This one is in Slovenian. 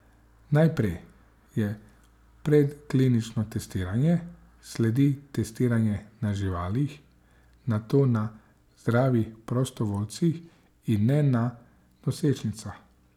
Najprej je predklinično testiranje, sledi testiranje na živalih, nato na zdravih prostovoljcih in ne na nosečnicah.